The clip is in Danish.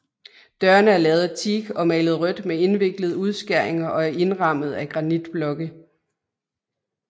Dørene er lavet af teak og malet rødt med indviklede udskæringer og indrammet af granitblokke